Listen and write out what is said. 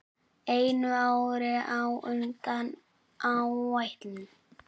Einu ári á undan áætlun.